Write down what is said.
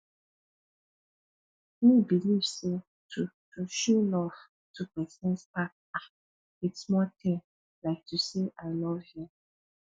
me believe say to to show love to pesin start um with small ting like to say i love you